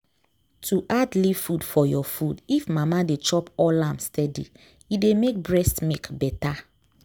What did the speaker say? to add leaf food for your food if mama dey chop all am steady e dey make breast milk better.